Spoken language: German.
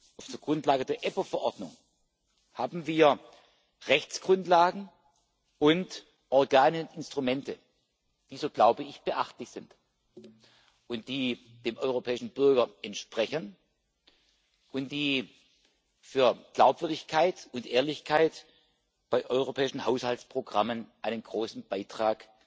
Auf der Grundlage der EPPO Verordnung haben wir Rechtsgrundlagen und Organe und Instrumente, die so glaube ich beachtlich sind, die dem europäischen Bürger entsprechen und die für Glaubwürdigkeit und Ehrlichkeit bei europäischen Haushaltsprogrammen einen großen Beitrag